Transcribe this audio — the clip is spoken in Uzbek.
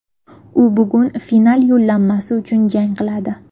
U bugun final yo‘llanmasi uchun jang qiladi.